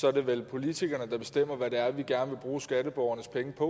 er det vel politikerne der bestemmer hvad det er vi gerne vil bruge skatteborgernes penge på